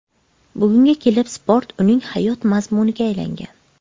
Bugunga kelib sport uning hayot mazmuniga aylangan.